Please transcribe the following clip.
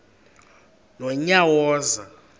nonyawoza